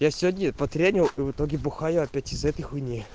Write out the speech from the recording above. я сегодня потренил и в итоге бухаю опять из-за этой хуйни